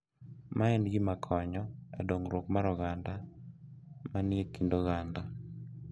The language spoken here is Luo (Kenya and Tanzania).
Ma en gima konyo e dongruok mar oganda ma ni e kind oganda.